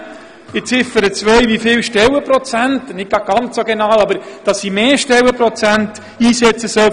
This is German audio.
Oder in Ziffer 2 zwar nicht die genaue Zahl vorzuschreiben, aber doch, dass für ein bestimmtes Institut mehr Stellenprozente eingesetzt werden sollen.